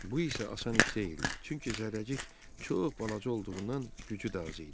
Bu isə asan iş deyildi, çünki Zərrəcik çox balaca olduğundan gücü də az idi.